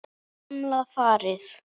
Gamla farið.